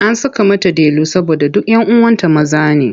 An saka mata Delu saboda duk 'yan uwanta maza ne.